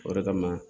O de kama